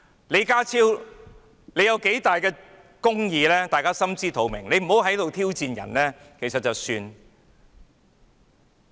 李家超是否秉行公義的人，大家心知肚明，他可不要再在這裏挑戰別人了。